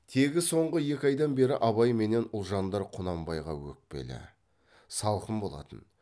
тегі соңғы екі айдан бері абай менен ұлжандар құнанбайға өкпелі салқын болатын